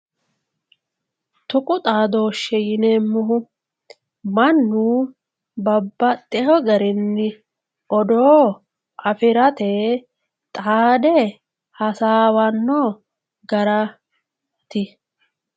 tuqu xadooshshe yineemmohu mannu babbaxxeyo garinni odoo afirate xaade hasaawanno garaati